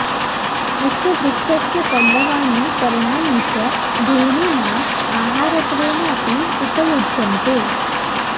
अस्य वृक्षस्य पल्लवानि पर्णानि च धेनूनाम् आहारत्वेन अपि उपयुज्यन्ते